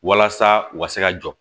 Walasa u ka se ka jɔ